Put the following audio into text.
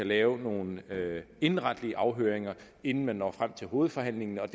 lave nogle indenretlige afhøringer inden man når frem til hovedforhandlingen og